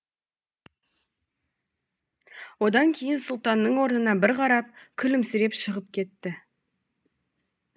одан кейін сұлтанның орнына бір қарап күлімсіреп шығып кетті